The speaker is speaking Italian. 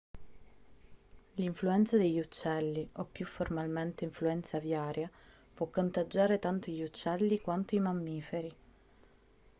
l'influenza degli uccelli o più formalmente influenza aviaria può contagiare tanto gli uccelli quanto i mammiferi